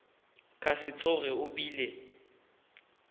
ka se tsoge o bile